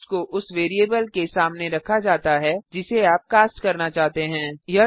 cast को उस variable के सामने रखा जाता है जिसे आप कास्ट करना चाहते हैं